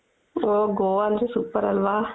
ಹೋ ಗೋವಾ ಅಂದ್ರೆ super ಅಲ್ವ